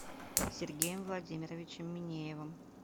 сергеем владимировичем минеевым